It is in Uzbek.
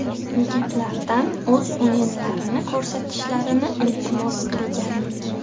Yigitlardan o‘z o‘yinlarini ko‘rsatishlarini iltimos qilgandik.